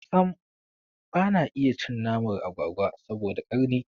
Sam bana iya cin naman agwagwa saboda karni